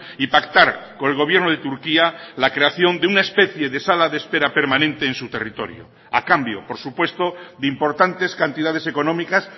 y pactar con el gobierno de turquía la creación de una especie de sala de espera permanente en su territorio a cambio por supuesto de importantes cantidades económicas